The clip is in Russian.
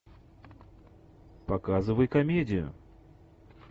показывай комедию